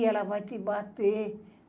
Ih, ela vai te bater.